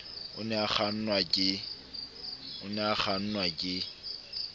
o ne a kgannwa ke